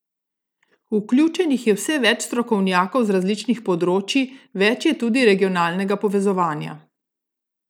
Vključenih je vse več strokovnjakov z različnih področij, več je tudi regionalnega povezovanja.